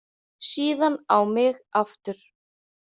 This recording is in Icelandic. Síðan á mig aftur.